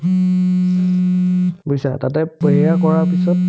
বুজিছা তাতে কৰাৰ পিছত